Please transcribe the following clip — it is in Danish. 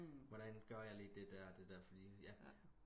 hvordan gør jeg lige det der og det der fordi ja